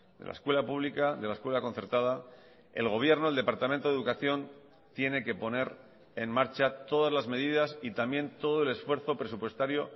de la escuela pública de la escuela concertada el gobierno el departamento de educación tiene que poner en marcha todas las medidas y también todo el esfuerzo presupuestario